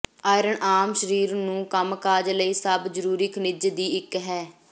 iron ਆਮ ਸਰੀਰ ਨੂੰ ਕੰਮ ਕਾਜ ਲਈ ਸਭ ਜ਼ਰੂਰੀ ਖਣਿਜ ਦੀ ਇੱਕ ਹੈ